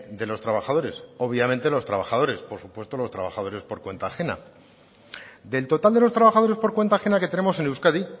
de los trabajadores obviamente los trabajadores por supuesto los trabajadores por cuenta ajena del total de los trabajadores por cuenta ajena que tenemos en euskadi